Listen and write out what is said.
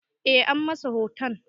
Eh, an masa hoton